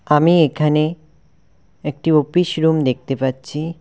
আমি এখানে একটি অফিস রুম দেখতে পাচ্ছি।